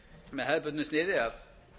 með hefðbundnu sniði að